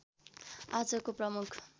आजको प्रमुख